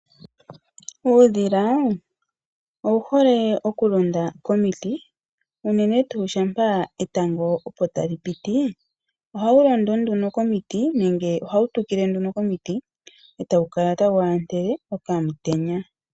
Uudhila owuhole okulonda komiti unene shampa etango opo tali piti ohawu londo komiti nande hawu tukile komiti etawukala ta waantele omutenya